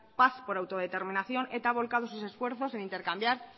paz por autoderminación eta ha volcado sus esfuerzos en intercambiar